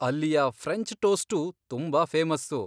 ಅಲ್ಲಿಯ ಫ್ರೆಂಚ್ ಟೋಸ್ಟೂ ತುಂಬಾ ಫೇಮಸ್ಸು.